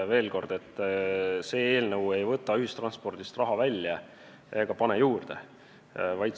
Veel kord: see eelnõu ei võta ühistranspordist raha välja ega pane juurde.